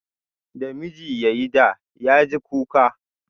Da miji ya yi da, ya ji kuka